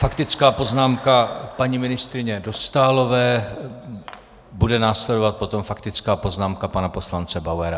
Faktická poznámka paní ministryně Dostálové, bude následovat potom faktická poznámka pana poslance Bauera.